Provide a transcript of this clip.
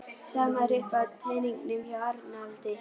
Sama er uppi á teningnum hjá Arnaldi